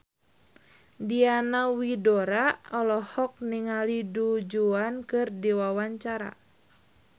Diana Widoera olohok ningali Du Juan keur diwawancara